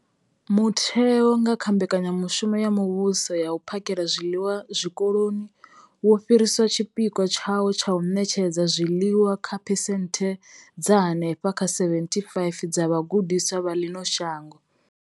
Mutheo, nga kha mbekanyamushumo ya muvhuso ya u phakhela zwiḽiwa zwikoloni, wo fhirisa tshipikwa tshawo tsha u ṋetshedza zwiḽiwa kha phesenthe dza henefha kha 75 dza vhagudiswa vha ḽino shango.